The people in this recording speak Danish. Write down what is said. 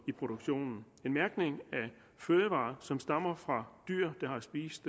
i produktionen en mærkning af fødevarer som stammer fra dyr der har spist